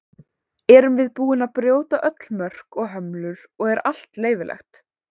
Erum við búin að brjóta öll mörk og hömlur og er allt leyfilegt?